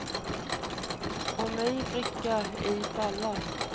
Om ej bricka, ej fall.